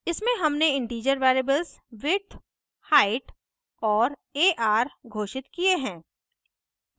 इसमें हमने integer variables width height और ar घोषित किये हैं